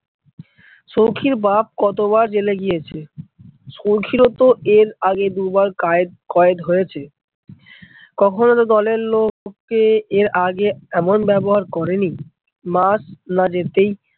সৌখীর বাপ কতবার জেলে গিয়েছে, সৌখীর ও তো এর আগেই দুবার কায়েদ কয়েদ হয়েছে। কখনো তো দলের লোককে এর আগে এমন ব্যবহার করেনি। মাস না যেতেই